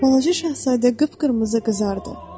Balaca şahzadə qıpqırmızı qızardı.